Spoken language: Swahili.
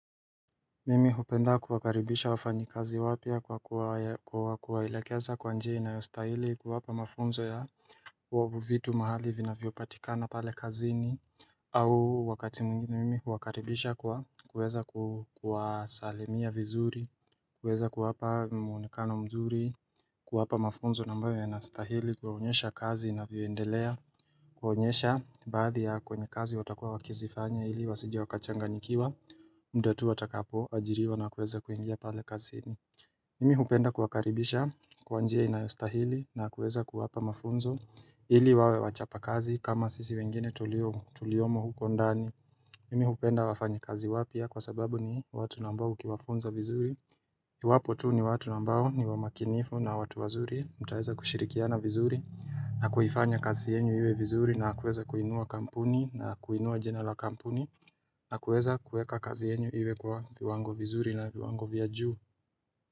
Mimi hupenda kuwakaribisha wafanyikazi wapya kwa kuwaelekeza kwa njia inayostahili, kuwapa mafunzo ya vitu mahali vinavyopatikana pale kazini, au wakati mwingine mimi huwakaribisha kwa kuweza kuwasalimia vizuri, kuweza kuwapa mwonekano mzuri kuwapa mafunzo ambayo yanastahili, kuwaonyesha kazi inavyoendelea kuwaonyesha baadhi ya kwenye kazi watakuwa wakizifanya hili wasije wakachanganyikiwa, muda tu watakapoajiriwa na kuweza kuingia pale kazini. Mimi hupenda kuwakaribisha kwa njia inayostahili na kuweza kuwapa mafunzo ili wawe wachapakazi kama sisi wengine tuliomo huko ndani Mimi hupenda wafanyakazi wapya kwa sababu ni watu ambao ukiwafunza vizuri iwapo tu ni watu ambao ni wamakinifu na watu wazuri, mtaeza kushirikiana vizuri na kuifanya kazi yenu iwe vizuri na kuweza kuinua kampuni na kuinua jina la kampuni, na kuweza kuweka kazi yenu iwe kwa viwango vizuri na viwango vya juu.